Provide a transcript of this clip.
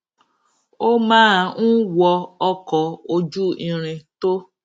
ó máa ń wọ ọkò ojú irin tó